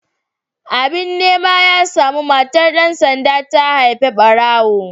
Abin nema ya samu, matar dan sanda ta haifi barawo.